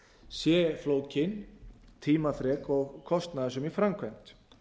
sé flókin tímafrek og kostnaðarsöm í framkvæmd